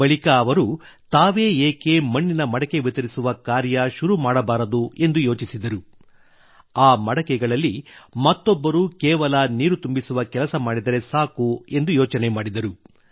ಬಳಿಕ ಅವರು ತಾವೇ ಏಕೆ ಮಣ್ಣಿನಿಂದ ಮಾಡಿದ ಪಾತ್ರೆಯನ್ನು ವಿತರಿಸುವ ಕಾರ್ಯ ಶುರು ಮಾಡಬಾರದು ಎಂದು ಯೋಚಿಸಿದರು ಆ ಮಡಕೆಗಳಲ್ಲಿ ಮತ್ತೊಬ್ಬರು ಕೇವಲ ನೀರು ತುಂಬಿಸುವ ಕೆಲಸ ಮಾಡಿದರೆ ಸಾಕು ಎಂದು ಯೋಚನೆ ಮಾಡಿದರು